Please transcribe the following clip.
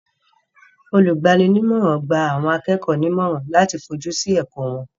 Olùgbani nímọ̀rà gba àwọn akẹ́kọ̀ọ́ nímọ̀rà láti fojú sí ẹ̀kọ́ wọn.